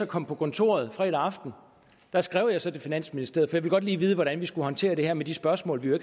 kom på kontoret fredag aften skrev jeg til finansministeriet ville godt lige vide hvordan vi skulle håndtere det her med de spørgsmål vi jo